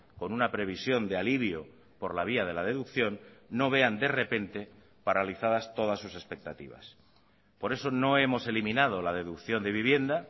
con una previsión de alivio por la vía de la deducción no vean de repente paralizadas todas sus expectativas por eso no hemos eliminado la deducción de vivienda